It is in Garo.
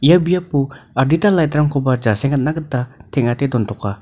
ia biapo adita light-rangkoba jasengatna gita teng·ate dontoka.